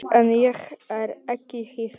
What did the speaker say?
En ég er ekki hissa.